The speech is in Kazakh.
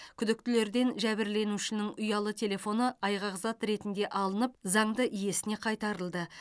күдіктілерден жәбірленушінің ұялы телефоны айғақзат ретінде алынып заңды иесіне қайтарылды